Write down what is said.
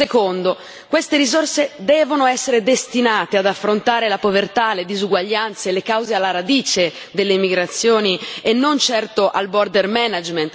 Secondo queste risorse devono essere destinate ad affrontare la povertà, le disuguaglianze, le cause alla radice delle migrazioni, e non certo al